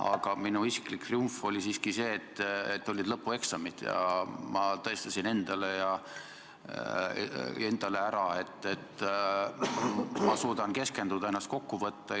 Aga minu isiklik triumf oli siiski see, et olid lõpueksamid ja ma tõestasin endale, et suudan keskenduda, ennast kokku võtta.